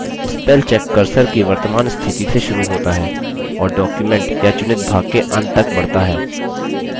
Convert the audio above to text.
spellcheck cursor की वर्तमान स्थिति से शुरू होता है और document या चुनित भाग के अंत तक बढ़ता है